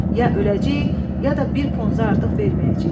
Ya öləcəyik, ya da bir ponza artıq verməyəcəyik.